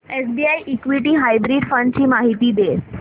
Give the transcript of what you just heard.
SBI equity hybrid fund ची माहिती दे